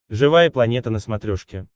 живая планета на смотрешке